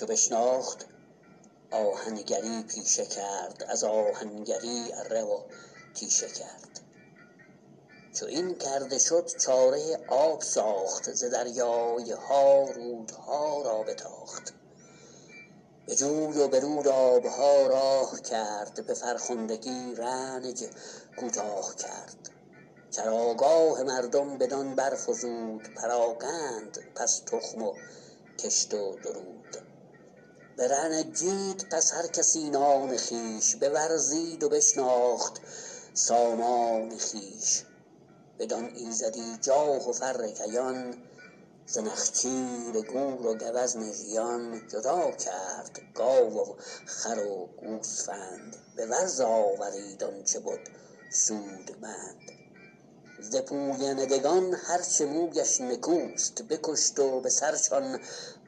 چو بشناخت آهنگری پیشه کرد از آهنگری اره و تیشه کرد چو این کرده شد چاره آب ساخت ز دریای ها رودها را بتاخت به جوی و به رود آب ها راه کرد به فرخندگی رنج کوتاه کرد چراگاه مردم بدان برفزود پراگند پس تخم و کشت و درود برنجید پس هر کسی نان خویش بورزید و بشناخت سامان خویش بدان ایزدی جاه و فر کیان ز نخچیر گور و گوزن ژیان جدا کرد گاو و خر و گوسفند به ورز آورید آن چه بد سودمند ز پویندگان هر چه مویش نکوست بکشت و به سرشان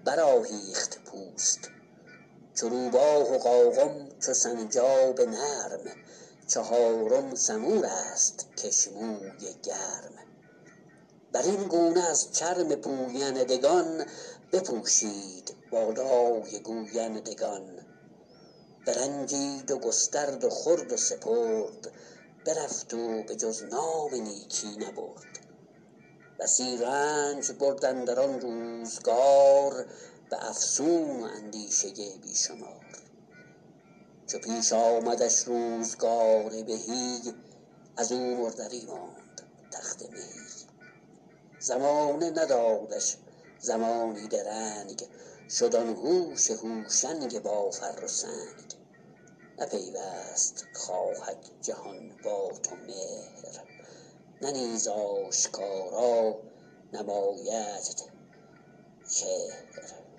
برآهیخت پوست چو روباه و قاقم چو سنجاب نرم چهارم سمور است کش موی گرم بر این گونه از چرم پویندگان بپوشید بالای گویندگان برنجید و گسترد و خورد و سپرد برفت و به جز نام نیکی نبرد بسی رنج برد اندر آن روزگار به افسون و اندیشه بی شمار چو پیش آمدش روزگار بهی از او مردری ماند تخت مهی زمانه ندادش زمانی درنگ شد آن هوش هوشنگ با فر و سنگ نه پیوست خواهد جهان با تو مهر نه نیز آشکارا نمایدت چهر